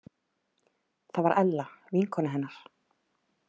Það var Ella vinkona hennar.